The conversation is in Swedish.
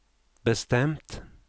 bestämt